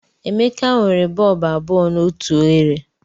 Emeka nwere bọlbụ abụọ na otu oghere.